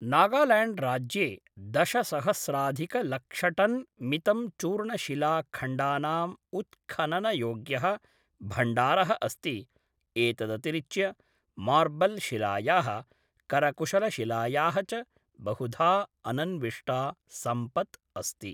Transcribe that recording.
नागाल्याण्ड्राज्ये दशसहस्राधिकलक्षटन् मितं चूर्णशिलाखण्डानाम् उत्खननयोग्यः भण्डारः अस्ति, एतदतिरिच्य मार्बल् शिलायाः, करकुशलशिलायाः च बहुधा अनन्विष्टा सम्पत् अस्ति।